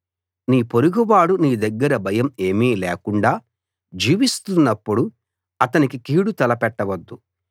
నీ పొరుగువాడు నీ దగ్గర భయం ఏమీ లేకుండా జీవిస్తున్నప్పుడు అతనికి కీడు తలపెట్టవద్దు